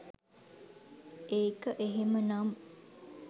ඒක එහෙම නම්